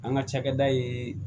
An ka cakɛda ye